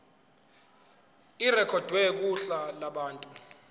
irekhodwe kuhla lwabantu